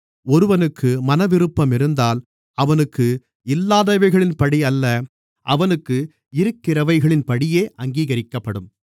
ஒருவனுக்கு மனவிருப்பம் இருந்தால் அவனுக்கு இல்லாதவைகளின்படியல்ல அவனுக்கு இருக்கிறவைகளின்படியே அங்கீகரிக்கப்படும்